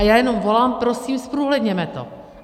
A já jenom volám, prosím, zprůhledněme to!